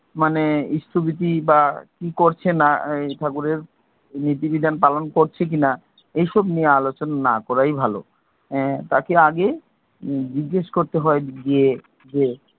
মানে ইষ্টভৃতি বা কি করছে না, ঠাকুরের নীতি বিধান পালন করছে কিনা এইসব নিয়ে আলোচনা না করাই ভালো। তাকে আগে জিজ্ঞেস করতে হয় যে,